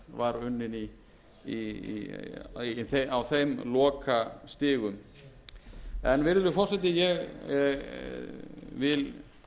hafnarfjarðarkrata sú vinna sem var unnin á þeim lokastigum en virðulegi forseti ég vil